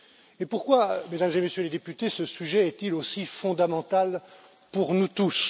Et pourquoi, Mesdames et Messieurs les députés, ce sujet est il aussi fondamental pour nous tous?